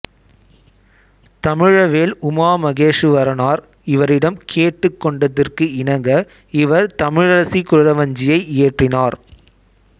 தமிழவேள் உமா மகேசுவரனார் இவரிடம் கேட்டுக் கொண்டதற்கு இணங்க இவர் தமிழரசி குறவஞ்சியை இயற்றினார்